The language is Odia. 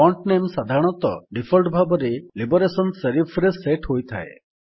ଫଣ୍ଟ ନାମେ ସାଧାରଣତଃ ଡିଫଲ୍ଟ ଭାବରେ ଲିବରେସନ ସେରିଫ୍ ରେ ସେଟ୍ ହୋଇଥାଏ